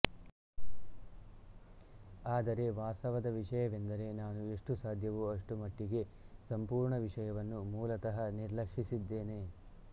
ಆದರೆ ವಾಸ್ತವದ ವಿಷಯವೆಂದರೆ ನಾನು ಎಷ್ಟು ಸಾಧ್ಯವೋ ಅಷ್ಟು ಮಟ್ಟಿಗೆ ಸಂಪೂರ್ಣ ವಿಷಯವನ್ನು ಮೂಲತಃ ನಿರ್ಲಕ್ಷಿಸಿದ್ದೇನೆ